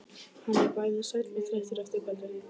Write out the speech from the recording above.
Hann er bæði sæll og þreyttur eftir kvöldið.